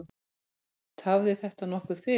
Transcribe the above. Tafði þetta nokkuð fyrir.